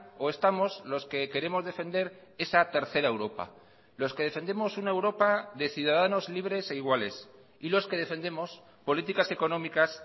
o estamos los que queremos defender esa tercera europa los que defendemos una europa de ciudadanos libres e iguales y los que defendemos políticas económicas